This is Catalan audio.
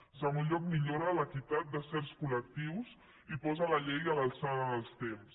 en segon lloc millora l’equitat de certs col·lectius i posa la llei a l’alçada dels temps